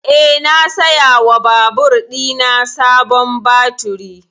Eh, na saya wa babur ɗina sabon baturi